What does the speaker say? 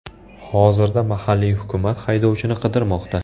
Hozirda mahalliy hukumat haydovchini qidirmoqda.